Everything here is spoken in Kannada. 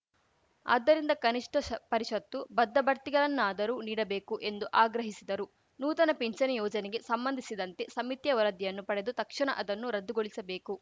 ಆದ್ದರಿಂದ ಕನಿಷ್ಠ ಷ ಪರಿಷತ್ತು ಬದ್ಧ ಬಡ್ತಿಗಳನ್ನಾದರೂ ನೀಡಬೇಕು ಎಂದು ಆಗ್ರಹಿಸಿದರು ನೂತನ ಪಿಂಚಣಿ ಯೋಜನೆಗೆ ಸಂಬಂಧಿಸಿದಂತೆ ಸಮಿತಿಯ ವರದಿಯನ್ನು ಪಡೆದು ತಕ್ಷಣ ಅದನ್ನು ರದ್ದುಗೊಳಿಸಬೇಕು